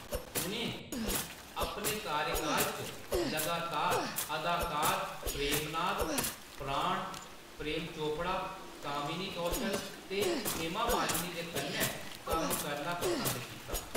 उʼनें अपने कार्यकाल च लगातार अदाकार प्रेम नाथ, प्राण, प्रेम चोपड़ा, कामिनी कौशल ते हेमा मालिनी दे कन्नै कम्म करना पसंद कीता।